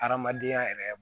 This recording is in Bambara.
Adamadenya yɛrɛ